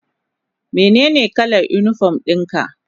Menene kalar unipom ɗin ka?